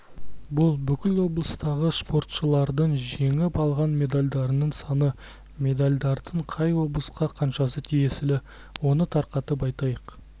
бұл бүкіл облыстағы спортшылардың жеңіп алған медальдарының саны медальдардың қай облысқа қаншасы тиесілі оны тарқатып айтайық